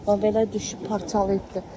Bax belə düşüb parçalayıbdır.